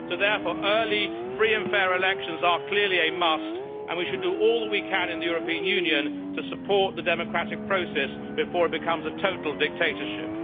So therefore, early free and fair elections are clearly a must, and we should do all we can in the European Union to support the democratic process before it becomes a total dictatorship.